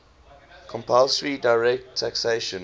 compulsory direct taxation